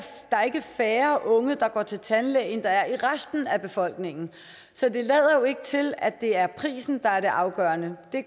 færre unge der går til tandlæge end der er i resten af befolkningen så det lader jo ikke til at det er prisen der er det afgørende det